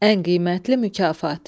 Ən qiymətli mükafat.